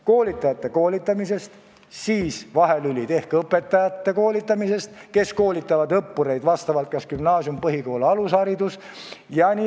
Koolitajate koolitamisest, st tehke vahelüli õpetajate koolitamisest, kes koolitavad õppureid kas gümnaasiumis, põhikoolis või alushariduses.